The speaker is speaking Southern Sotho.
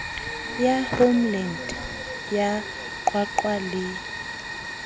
ya homeland ya qwaqwa le